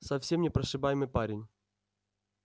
совсем непрошибаемый парень